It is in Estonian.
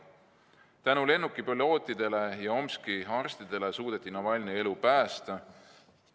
Tänu lennukipilootidele ja Tomski arstidele suudeti Navalnõi elu päästa.